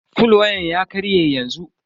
fol wayan ya karye yanzu.